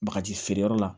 Bagaji feereyɔrɔ la